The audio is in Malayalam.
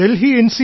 ഡൽഹി എൻ